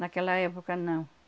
Naquela época, não.